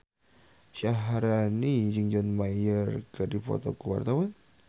Syaharani jeung John Mayer keur dipoto ku wartawan